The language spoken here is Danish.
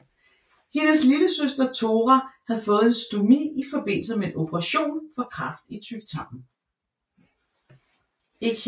Hendes lillesøster Thora havde fået en stomi i forbindelse med en operation for kræft i tyktarmen